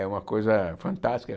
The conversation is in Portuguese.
É uma coisa fantástica.